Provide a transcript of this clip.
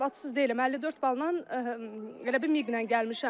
Savadsız deyiləm, 54 balla elə bil miqlə gəlmişəm.